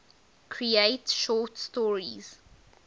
create short stories